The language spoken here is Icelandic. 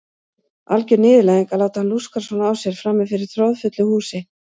Alger niðurlæging að láta hann lúskra svona á sér frammi fyrir troðfullu húsi.